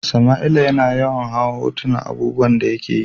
Samaila ya na yawan hau hotunan abubuwan da ya ke yi.